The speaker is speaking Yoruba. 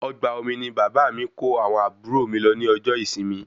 Ọgbà omi ní bàbá mí kó àwọn àbúrò mí lọ ní ọjọ ìsinmi